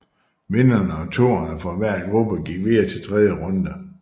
Vinderne og toerne fra hver gruppe gik videre til tredje runde